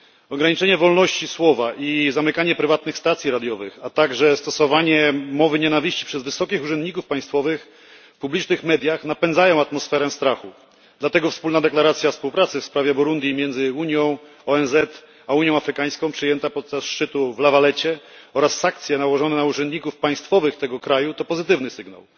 Ograniczenie wolności słowa i zamykanie prywatnych stacji radiowych, a także stosowanie mowy nienawiści przez wysokich urzędników państwowych w publicznych mediach napędzają atmosferę strachu, dlatego wspólna deklaracja współpracy w sprawie Burundi między Unią, ONZ a Unią Afrykańską przyjęta podczas szczytu w La Valletcie oraz sankcje nałożone na urzędników państwowych tego kraju to pozytywny sygnał.